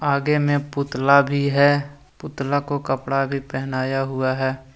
आगे में पुतला भी है पुतला को कपड़ा भी पेहनाया हुआ है।